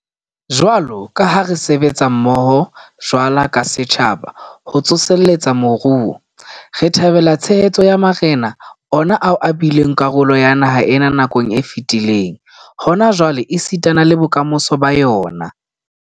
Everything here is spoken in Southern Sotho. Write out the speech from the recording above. Jwalo ka ha re sebetsa mmoho jwalo ka setjhaba ho tsoseletsa moruo, re thabela tshehetso ya marena, ona ao e bileng karolo ya naha ena nakong e fetileng, hona jwale esitana le bokamosong ba yona.